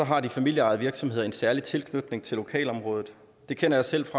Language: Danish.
har de familieejede virksomheder en særlig tilknytning til lokalområdet det kender jeg selv